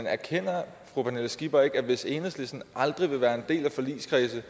erkender fru pernille skipper ikke at hvis enhedslisten aldrig vil være en del af forligskredse